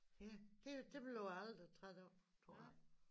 Ja det de bliver jeg aldrig træt af tror jeg